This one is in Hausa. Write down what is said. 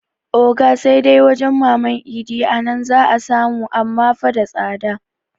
Oga sai dai wajan maman idi a nan za 'a samu amma fa da tsada